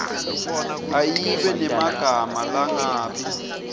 ayibe nemagama langabi